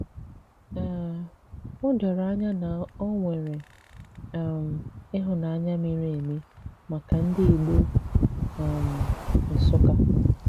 um Ó dòrò ànyà na ọ nwere um ịhụ́nanya miri emi maka ndị Ìgbò um Nsụ́kkà.